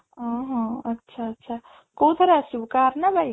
ଅଂହଃ ଆଚ୍ଛା ଆଚ୍ଛା କୋଉଥିରେ ଆସିବୁ car ନା bike?